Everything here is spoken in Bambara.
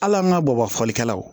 Hali an ka bɔ ba fɔlikɛlaw